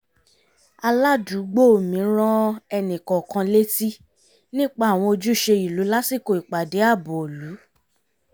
aládùúgbò mi rán ẹnìkọ̀ọ̀kan létí nípa àwọn ojúṣe ìlú lásìkò ìpàdé ààbò ìlú